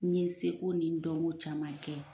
N ye se ko ni dɔn ko caman kɛ.